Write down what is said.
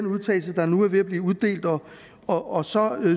vedtagelse der nu er ved at blive uddelt og og så